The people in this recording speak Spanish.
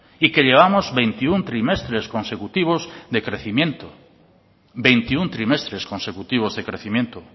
y que llevamos veintiuno trimestres consecutivos de crecimiento veintiuno trimestres consecutivos de crecimiento